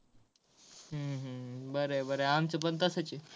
हम्म हम्म बर आहे बर आहे आमच पण तसंच आहे.